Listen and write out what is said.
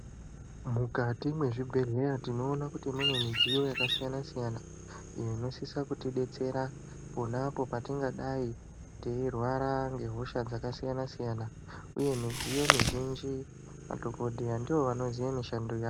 Mukati mwezvibhedhleya tinoona kuti mune midziyo yakasiyana-siyana iyo inosisa kutidetsera ponapo patingadai teirwara ngehosha dzakasiyana-siyana uye midziyo mizhinji madhokodheya ndivo vanoziya mishando ya.